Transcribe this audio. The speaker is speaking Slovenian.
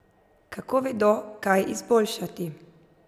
Kako vedo, kaj izboljšati?